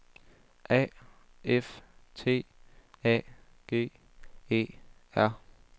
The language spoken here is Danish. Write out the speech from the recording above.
A F T A G E R